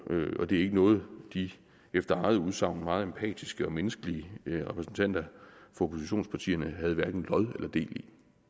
og det er ikke noget de efter eget udsagn meget empatiske og menneskelige repræsentanter fra oppositionspartierne havde hverken lod eller del i